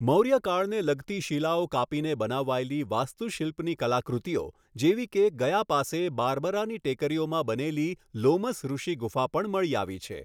મોર્યકાળને લગતી શિલાઓ કાપીને બનાવાયેલી વાસ્તુશિલ્પની કલાકૃતિઓ જેવી કે ગયા પાસે બારબરાની ટેકરીઓમાં બનેલી લોમસ ઋષી ગુફા પણ મળી આવી છે.